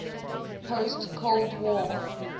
post cold war